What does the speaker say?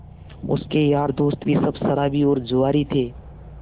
उसके यार दोस्त भी सब शराबी और जुआरी थे